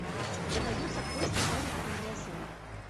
у тебя найдется кости сарика андреасяна